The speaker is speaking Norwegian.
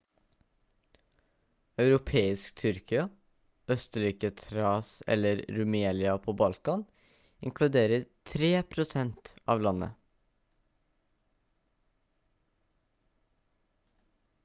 europeisk tyrkia østlige thrace eller rumelia på balkan inkluderer 3 prosent av landet